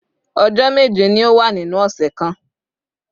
Ọjọ́ méje ni ó wà nínú ọ̀sẹ̀ kan